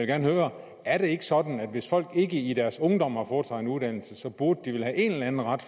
gerne høre er det ikke sådan at hvis folk ikke i deres ungdom har fået sig en uddannelse burde de vel have en eller anden ret